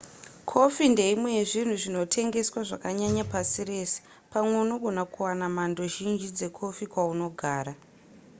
kofi ndeimwe yezvinhu zvinotengeswa zvakanyanya pasi rese pamwe unogona kuwana mhando zhinji dzekofi kwaunogara